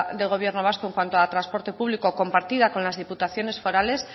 del gobierno vasco en cuanto a transporte público compartida con las diputaciones forales